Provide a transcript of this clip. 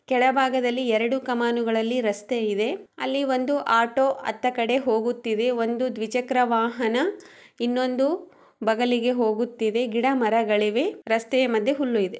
ಕೆಳಭಾಗದಲ್ಲಿ ಎರಡು ಕಮಾನುಗಳಲ್ಲಿ ರಸ್ತೆ ಇದೆ. ಅಲ್ಲಿ ಒಂದು ಆಟೋ ಅತ್ತ ಕಡೆ ಹೋಗುತ್ತಿದೆ ಒಂದು ದ್ವಿಚಕ್ರವಾಹನ ಇನ್ನೊಂದು ಬಗಲಿಗೆ ಹೋಗುತ್ತಿದೆ ಗಿಡ ಮರಗಳಿವೆ ರಸ್ತೆ ಮಧ್ಯೆ ಹುಲ್ಲು ಇದೆ.